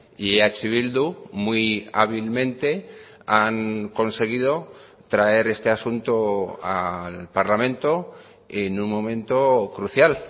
y eh bildu muy hábilmente han conseguido traer este asunto al parlamento en un momento crucial